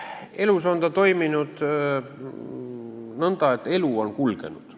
Elus on ta toiminud nõnda, et elu on kulgenud.